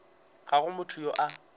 ga go motho yo a